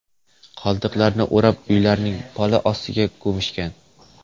Qoldiqlarini o‘rab, uylarning poli ostiga ko‘mishgan.